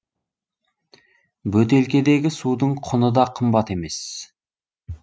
бөтелкедегі судың құны да қымбат емес